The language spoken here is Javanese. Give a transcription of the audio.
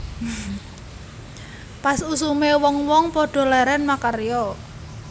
Pas usume wong wong padha leren makarya